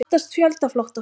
Óttast fjöldaflótta frá